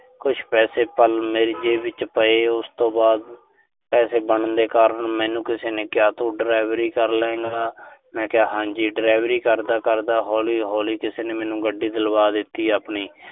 ਕੁਸ਼ ਪੈਸੇ ਤਾਂ ਮੇਰੀ ਜੇਬ ਵਿੱਚ ਪਏ ਤੇ ਉਸ ਤੋਂ ਬਾਅਦ ਪੈਸੇ ਬਣਨ ਦੇ ਕਾਰਨ ਮੈਨੂੰ ਕਿਸੇ ਨੇ ਕਿਹਾ ਤੂੰ ਡਰਾਇਵਰੀ ਕਰਲੇਂਗਾ। ਮੈਂ ਕਿਹਾ ਹਾਂਜੀ। ਡਰਾਇਵਰੀ ਕਰਦਾ-ਕਰਦਾ, ਹੌਲੀ-ਹੌਲੀ ਕਿਸੇ ਨੇ ਮੈਨੂੰ ਗੱਡੀ ਦਿਲਵਾ ਦਿੱਤੀ ਆਪਣੀ